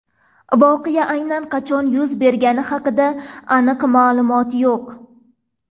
Voqea aynan qachon yuz bergani haqida aniq ma’lumot yo‘q.